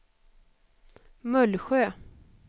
Mullsjö